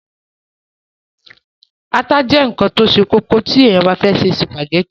ata jẹ́ ǹkan tó se kókó tí èèyàn bá fẹ́ se sùpàgẹ́tì